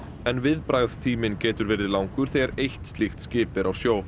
en viðbragðstíminn getur verið langur þegar eitt slíkt skip er á sjó